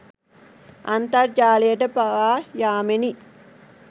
අන්තර්ජාලයට පවා යාමෙනි.